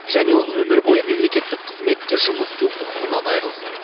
және ол өмір бойы мемлекеттік қызметте жұмыс істеу құқығынан айырылсын